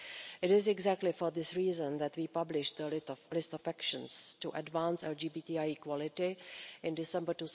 It is exactly for this reason that we published a list of actions to advance LGBTI equality, in December